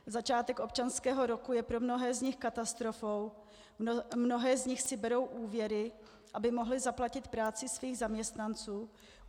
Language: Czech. Začátek občanského roku je pro mnohé z nich katastrofou, mnohé z nich si berou úvěry, aby mohly zaplatit práci svých zaměstnanců.